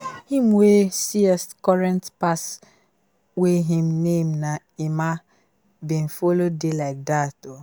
him wey current pass wey him name na emma bin follow dey like dat